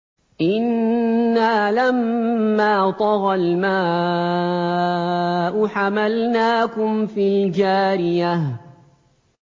إِنَّا لَمَّا طَغَى الْمَاءُ حَمَلْنَاكُمْ فِي الْجَارِيَةِ